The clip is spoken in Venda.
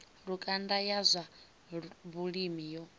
lukanda ya zwa vhulimi yo